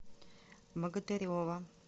богатырева